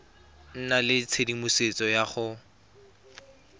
nna le tshedimosetso ya go